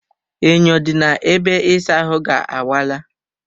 Enyo dị na ebe ịsa ahụ ga awaala